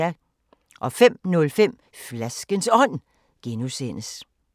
05:05: Flaskens Ånd (G)